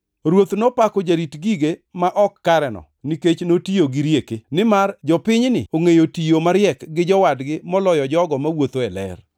“Ruoth nopako jarit gige ma ok kareno nikech notiyo gi rieke. Nimar jopinyni ongʼeyo tiyo mariek gi jowadgi moloyo jogo mawuotho e ler.